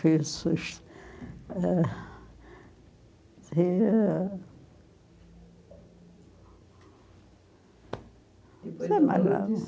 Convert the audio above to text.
Fez um susto. Eh... é a